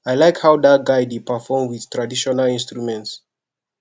i like how dat guy dey perform with traditional instruments